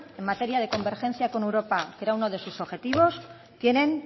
en materia de convergencia con europa que era uno de sus objetivos tienen